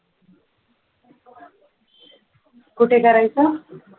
कुठे करायचं